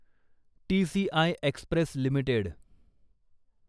TCI Express limited